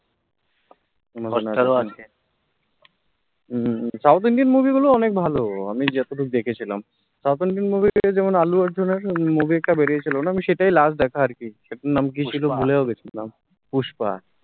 south indian movie গুলো অনেক ভালো আমি জেতেতু দেখেছিলাম south indian movie তে যেমন all arjun এর movie একটা বেরিয়ে ছিলো না, সেটাই last দেখা আরকি নাম কি ছিলো ভুলিয়ও গেছি নাম pushpa